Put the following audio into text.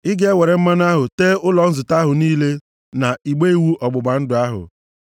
Ị ga-ewere mmanụ ahụ tee ụlọ nzute ahụ niile na igbe iwu ọgbụgba ndụ ahụ,